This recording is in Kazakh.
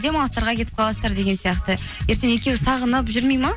демалыстарға кетіп қаласыздар деген сияқты ертең екеуі сағынып жүрмейді ме